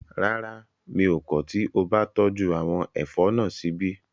Rárá, mi ò kọ̀ tí o bá tọ́jú àwọn ẹ̀fọ́ náà síbí